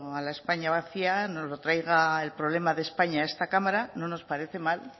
a la españa vacía nos traiga el problema de españa a esta cámara no nos parece mal